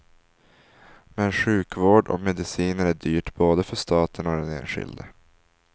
Men sjukhusvård och mediciner är dyrt både för staten och den enskilde.